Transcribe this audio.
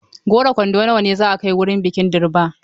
Goro kwando nawa ne za a kai wurin bikin Durbar?